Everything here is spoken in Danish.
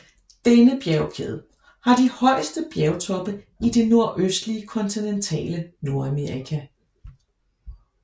Denne bjergkæde har de højeste bjergtoppe i det nordøstlige kontinentale Nordamerika